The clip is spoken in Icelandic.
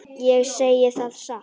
Ég segi það satt.